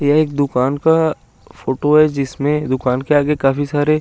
ये एक दुकान का फोटो है जिसमें दुकान के आगे काफी सारे--